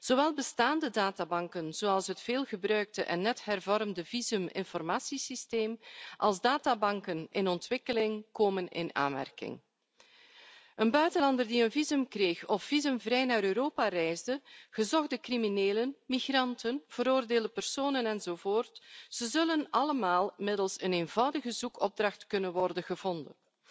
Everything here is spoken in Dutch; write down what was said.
Zowel bestaande databanken, zoals het veelgebruikte en net hervormde visuminformatiesysteem, als databanken in ontwikkeling komen in aanmerking. Een buitenlander die een visum heeft gekregen of visumvrij naar Europa is gereisd, gezochte criminelen, migranten, veroordeelde personen, enzovoort, zullen allemaal middels een eenvoudige zoekopdracht kunnen worden gevonden.